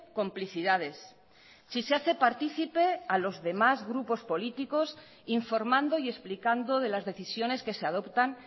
complicidades si se hace partícipe a los demás grupos políticos informando y explicando de las decisiones que se adoptan